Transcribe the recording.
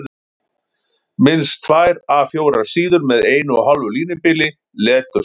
Minnst tvær A 4 síður með 1½ línubili, leturstærð